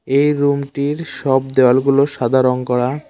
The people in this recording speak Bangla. এই রুম -টির সব দেওয়াল গুলো সাদা রঙ করা।